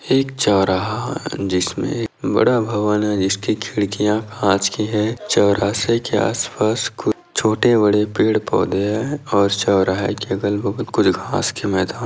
एक चौराहा जिसमे एक बड़ा भवन है जिसकी खिड़किया काँच की है चौरासे के आस पास कुछ छोटे बड़े पेड़-पौधे है और चौराहे के अगल--